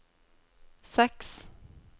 seks